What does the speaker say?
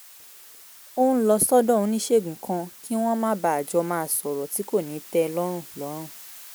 òun ń lọ sọ́dọ̀ oníṣègùn kan kí wọ́n má bàa jọ máa sọ̀rọ̀ tí kò ní tẹ lọ́rùn lọ́rùn